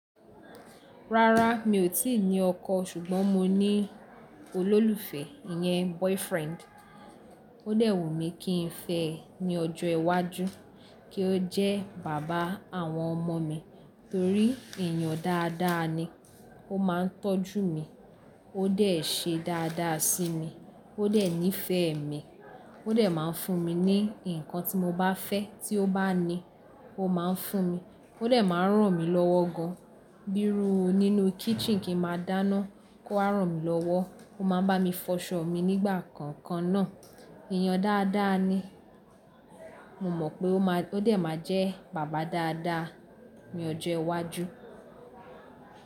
Rárá mi ò tíì ní ọkọ ṣùgbọ́n mo ní olólùfẹ́, ìyẹn boyfriend. Ó dẹ̀ wù mí kí n fẹ́ ẹ ní ọjọ́ iwájú, kí ó jẹ́ bàbá àwọn ọmọ mi torí èèyàn dáadáa ni. Ó máa ń tọ́jú mi, ó dẹ̀ ṣe dáadáa sí mi, ó dẹ̀ nífẹ̀ẹ́ mi, ó dẹ̀ máa ń fún mi ní nǹkan tí mo bá fẹ́ tí ó bá ní, ó máa ń fún mi, ó dẹ̀ máa ń ràn mí lọ́wọ́ gan. Bírú nínú kitchen kí ń máa dáná, kó wá ràn mí lọ́wọ́, ó máa bá mi fọṣọ mi nígbà kankan náà. Èèyàn dáadáa ni. Mo mọ̀ pé ó má-- ó dẹ̀ máa jẹ́ bàbá dáadáa ní ọjọ́ iwájú.